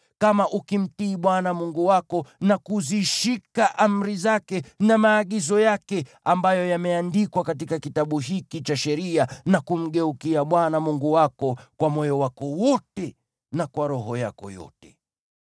kama ukimtii Bwana Mungu wako, na kuzishika amri zake na maagizo yake ambayo yameandikwa katika Kitabu hiki cha Sheria, na kumgeukia Bwana Mungu wako kwa moyo wako wote na kwa roho yako yote.